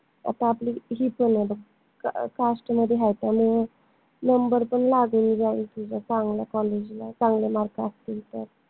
कस आपली cast मध्ये हाय त्यामुळे number पन लागून जाईल तुझा चांगल्या college ला चांगले mark असतील तर